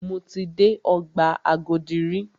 Mo ti dé ọgbà Agodi rí.